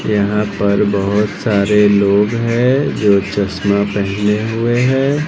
यहा पर बहोत सारे लोग है जो चश्मा पहने हुए हैं।